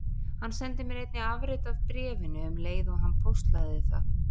Hann sendi mér einnig afrit af bréfinu um leið og hann póstlagði það.